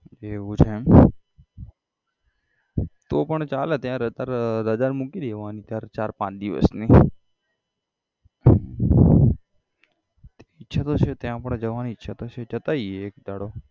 એવું છે એમ તો પણ ચાલે ત્યાં અત્યારે રજા મૂકી દેવાની ચાર ચાર પાંચ દિવસની ઈચ્છા તો છે ત્યાં પણ જવાની ઈચ્છા તો છે જતા આઇએ એક દાડો